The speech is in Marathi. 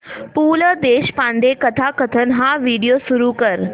पु ल देशपांडे कथाकथन हा व्हिडिओ सुरू कर